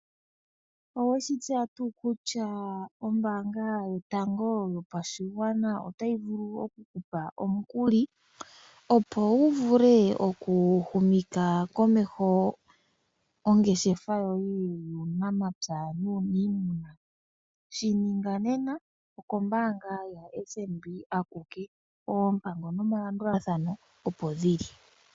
Oweshi tseya tuu kutya ombaanga yotango yopashigwana otayi vulu oku kupa omukuli, opo wu vule oku humitha komeho ongeshefa yoye yuunamapya nuunimuna. Shi ninga nena, okombaanga yaFNB akuke, oompango nomalandulathano opo dhili.